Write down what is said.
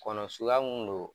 Kɔnɔ sukuya mun don